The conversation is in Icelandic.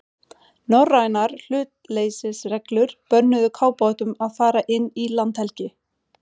Norrænar hlutleysisreglur bönnuðu kafbátum að fara inn í landhelgi